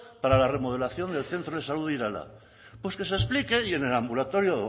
para la remodelación del centro de salud de irala pues que se explique y en el ambulatorio